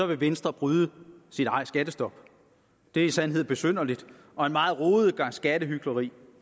vil venstre bryde sit eget skattestop det er i sandhed besynderligt og en meget rodet gang skattehykleri